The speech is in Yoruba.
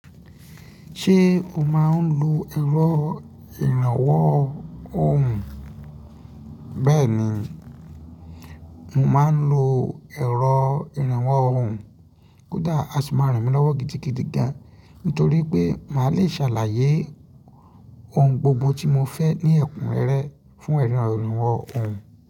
Ṣé o máa ń lo ẹ̀rọ ìrànwọ́ ohùn? Bẹ́ẹ̀ni, mo máa ń lo ẹ̀rọ ìrànwọ́ ohùn. Kódà a sì máa ràn mí lọ́wọ́ gidigidi gan, nítorí pé màá le ṣàlàyé ohùn gbogbo tí mo fẹ́ ní ẹ̀kúnrẹ́rẹ́ fún ẹran ìrànwọ́ ohùn.